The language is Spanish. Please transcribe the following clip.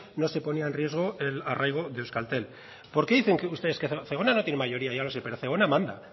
no se ponían en riesgo el arraigo de euskaltel zegona no tiene mayoría ya lo sé pero zegona manda